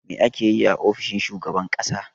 Me ake yi a ofishin shugaban ƙasa?